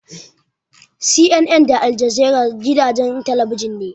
CNN da Aljazeera gidajen talabijin ne.